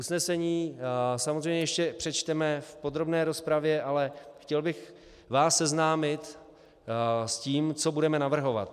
Usnesení samozřejmě ještě přečteme v podrobné rozpravě, ale chtěl bych vás seznámit s tím, co budeme navrhovat.